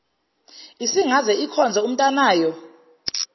isingaze ikhonze umntanayo